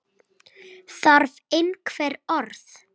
Þarf einhver orð?